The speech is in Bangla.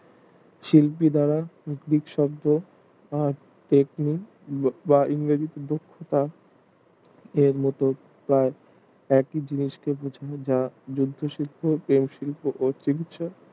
শিল্পী ছাড়া গ্রিক শব্দ দক্ষতা ও মতো প্রায় একই জিনিসকে বোঝায় যা মদ্ধ শিল্প চারু শিল্প ও